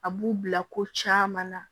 A b'u bila ko caman na